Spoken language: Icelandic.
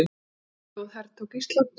Hvaða þjóð hertók Ísland?